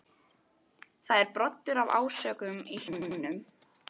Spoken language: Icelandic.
Það er broddur af ásökun í hljómnum.